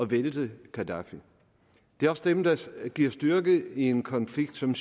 vælte gaddafi det er også dem der giver styrke i en konflikt som